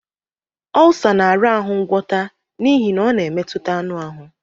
Ọlsa na-arahụ ngwọta n'ihi na ọ na-emetụta anụ ahụ.